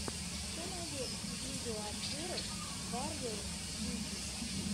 что найдешь из видеообзоров варриор виги